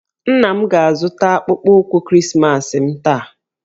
Nna m ga-azụta akpụkpọ ụkwụ Krismas m taa